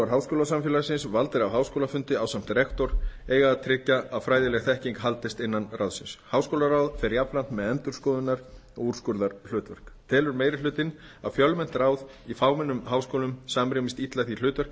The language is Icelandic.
háskólasamfélagsins valdir af háskólafundi ásamt rektor eiga að tryggja að fræðileg þekking haldist innan ráðsins háskólaráð fer jafnframt með endurskoðunar og úrskurðarhlutverk telur meiri hlutinn að fjölmennt ráð í fámennum háskólum samrýmist illa því hlutverki